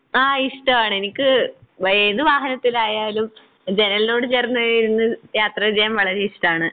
ആഹ് ഇഷ്ടവാണ് എനിക്ക് ഏതു വാഹനത്തിലായാലും ജനലിനോട് ചേർന്ന് ഇരുന്ന് യാത്ര ചെയ്യാൻ വളരെ ഇഷ്ടാണ്.